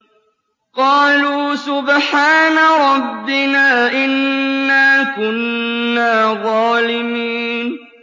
قَالُوا سُبْحَانَ رَبِّنَا إِنَّا كُنَّا ظَالِمِينَ